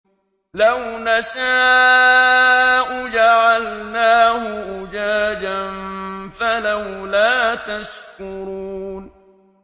لَوْ نَشَاءُ جَعَلْنَاهُ أُجَاجًا فَلَوْلَا تَشْكُرُونَ